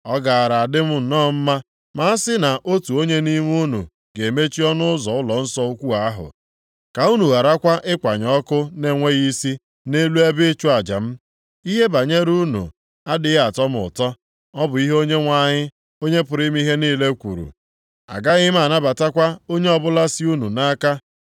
“Ọ gaara adị m nnọọ mma ma a sị na otu onye nʼime unu ga-emechi ọnụ ụzọ ụlọnsọ ukwu ahụ, ka unu gharakwa ịkwanye ọkụ na-enweghị isi nʼelu ebe ịchụ aja m. Ihe banyere unu adịghị atọ m ụtọ. Ọ bụ ihe Onyenwe anyị, Onye pụrụ ime ihe niile kwuru. Agaghị m anabatakwa onyinye ọbụla si unu nʼaka.